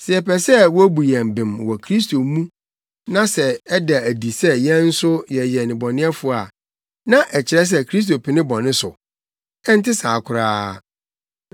“Sɛ yɛpɛ sɛ wobu yɛn bem wɔ Kristo mu na sɛ ɛda adi sɛ yɛn nso yɛyɛ nnebɔneyɛfo a, na ɛkyerɛ sɛ Kristo pene bɔne so? Ɛnte saa koraa.